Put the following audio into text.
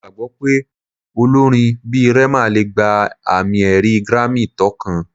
Mo gbagbọ pe olorin bi Rema le gba ami-ẹri Grammy tókàn